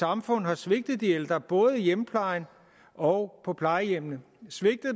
samfund har svigtet de ældre både i hjemmeplejen og på plejehjemmene